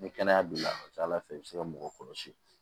Ni kɛnɛya b'i la a ka ca ala fɛ i bɛ se ka mɔgɔ kɔlɔsi